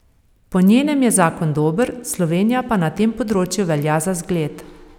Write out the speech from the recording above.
Po njenem je zakon dober, Slovenija pa na tem področju velja za zgled.